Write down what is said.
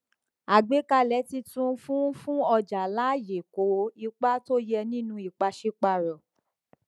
àgbékalẹ títun fún fún ọjà láàyè kó ipa tó yẹ nínú ìpàsípààrọ